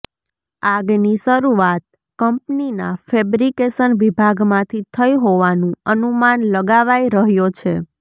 આગની શરૂઆત કંપનીના ફેબ્રીકેશન વિભાગમાંથી થઈ હોવાનું અનુમાન લગાવાઈ રહ્યો છે